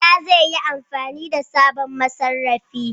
Bala zai yi amfani da sabon masarrafi.